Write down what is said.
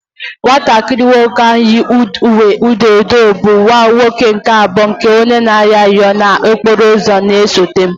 Nwatakịrị nwoke ahụ yi uwe edo edo, bụ nwa nwoke nke abụọ nke onye arịrịọ ahụ na-anọ n'okporo ụzọ na-esote